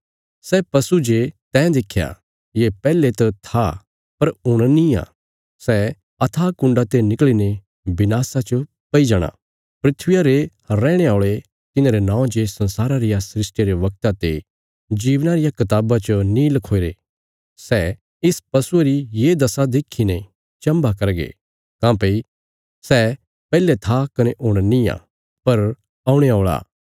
सै पशु जे तैं देख्या ये पैहले त था पर हुण निआं सै अथाह कुण्डा ते निकल़ीने विनाशा च पैई जाणा धरतिया रे रैहणे औल़े तिन्हांरे नौं जे संसारा रिया सृष्टिया रे वगता ते जीवना रिया कताबा च नीं लखोईरे सै इस पशुये री ये दशा देखीने चम्भा करगे काँह्भई सै पैहले था कने हुण नींआ पर औणे औल़ा